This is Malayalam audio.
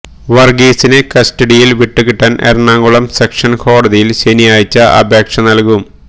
വര്ഗീസിനെ കസ്റ്റഡിയില് വിട്ടുകിട്ടാന് എറണാകുളം സെഷന്സ് കോടതിയില് ശനിയാഴ്ച അപേക്ഷ നല്കും